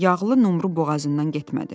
Yağlı numru boğazından getmədi.